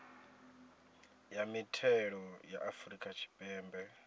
ya mithelo ya afrika tshipembe